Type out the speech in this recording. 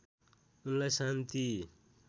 उनलाई शान्ति